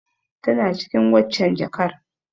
Tana cikin waccen jakar.